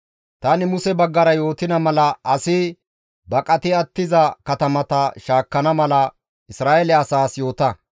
«Tani Muse baggara yootida mala asi baqati attiza katamata shaakkana mala Isra7eele asaas yoota;